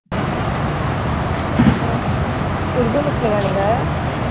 அப்புறம் உருது முஸ்லிமா நீங்க